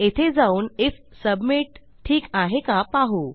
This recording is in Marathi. येथे जाऊन आयएफ सबमिट ठीक आहे का पाहू